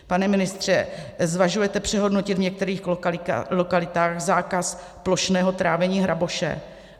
Pane ministře, zvažujete přehodnotit v některých lokalitách zákaz plošného trávení hraboše?